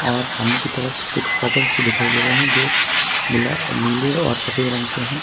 और सामने की तरफ कुछ कर्टेंस भी दिखाई दे रहे हैं जो गुला नीले और सफेद रंग के हैं।